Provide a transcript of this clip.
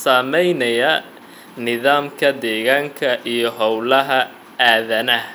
saamaynaya nidaamka deegaanka iyo hawlaha aadanaha.